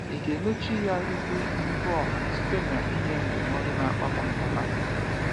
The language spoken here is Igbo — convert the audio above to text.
Ị ga emechi ya ihu n’ihu ọha site n’inye ndụmọdụ na-akpata mgbagha?